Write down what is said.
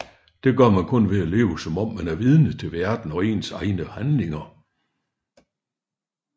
Det gør man ved kun at leve som om man er vidne til verden og ens egne handlinger